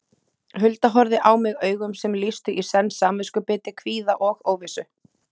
Hulda horfði á mig augum sem lýstu í senn samviskubiti, kvíða og óvissu.